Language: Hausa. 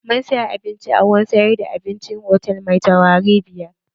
Mun saya abincin a wurin sayar da abincin hotal mai taurari biyar.